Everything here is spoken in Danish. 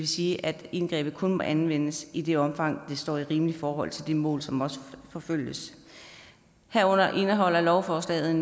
sige at indgrebet kun må anvendes i det omfang det står i rimeligt forhold til det mål som forfølges herunder indeholder lovforslaget